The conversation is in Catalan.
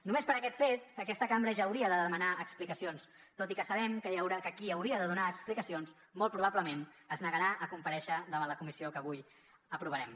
només per aquest fet aquesta cambra ja hauria de demanar explicacions tot i que sabem que qui hauria de donar explicacions molt probablement es negarà a comparèixer davant la comissió que avui aprovarem